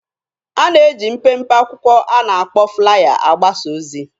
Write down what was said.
A na-eji mpempe akwụkwọ a na-akpọ 'flaya' agbasa ozi.